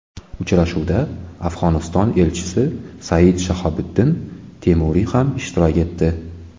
Uchrashuvda Afg‘oniston elchisi Sayid Shahobiddin Temuriy ham ishtirok etdi.